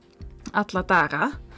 alla daga